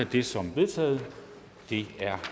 det som vedtaget det er